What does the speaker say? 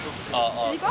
Gəl mənə tərəf.